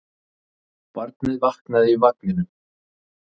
Barnið vaknaði í vagninum.